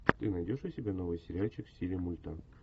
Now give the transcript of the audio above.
ты найдешь у себя новый сериальчик в стиле мульта